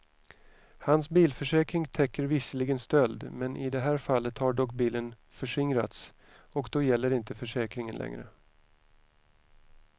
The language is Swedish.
Hans bilförsäkring täcker visserligen stöld, men i det här fallet har dock bilen förskingrats och då gäller inte försäkringen längre.